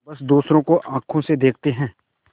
बस दूसरों को आँखों से देखते हैं